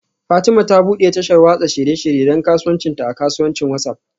Fatima ta bude tashar watsa shirye-shirye don kasuwancinta a kasuwancin WhatsApp